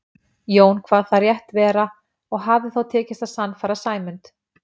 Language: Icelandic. Jón kvað það rétt vera og hafði þá tekist að sannfæra Sæmund.